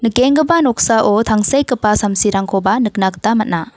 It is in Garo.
noksao tangsekgipa samsirangkoba nikna gita man·a.